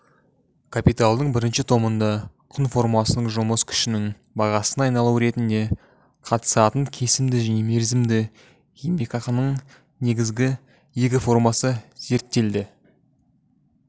капиталдың бірінші томында құн формасының жұмыс күшінің бағасына айналуы ретінде қатысатын кесімді және мерзімді еңбекақының негізгі екі формасы зерттеледі